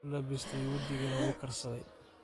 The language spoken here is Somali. Uulabistey wajigana uukarsadhey.